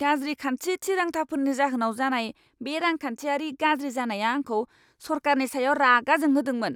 गाज्रि खान्थि थिरांथाफोरनि जाहोनाव जानाय बे रांखान्थियारि गाज्रि जानाया आंखौ सरकारनि सायाव रागा जोंहोदोंमोन।